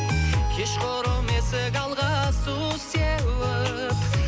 кешқұрым есік алға су сеуіп